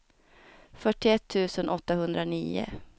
fyrtioett tusen åttahundranio